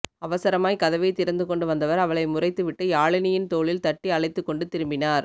அவசரமாய் கதவை திறந்து கொண்டு வந்தவர் அவளை முறைத்து விட்டு யாழினியின் தோளில் தட்டி அழைத்துக்கொண்டு திரும்பினார்